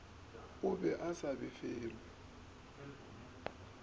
o be a sa felelwe